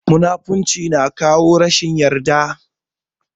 Munafurci ya na kawo rashin yarda